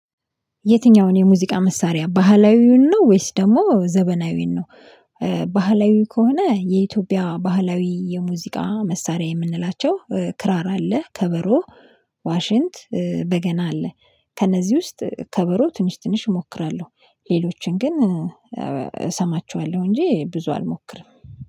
የትኛውን የሙዚቃ መሳሪያ ባህላዊውን ነው ወይስ ደግሞ ዘመናዊውን ነው? ባህላዊ ከሆነ የኢትዮጵያ ባህላዊ የሙዚቃ መሳሪያ የምንላቸው ክራር አለ ከበሮ ዋሽንት በገና አለ። ከነዚህ ውስጥ ከበሮ ትንሽ ትንሽ እሞክራለሁ። ሌሎችን ግን እሰማቸዋለሁ እንጂ ብዙ አልሞክርም